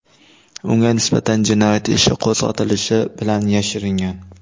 Unga nisbatan jinoyat ishi qo‘zg‘atilishi bilan yashiringan.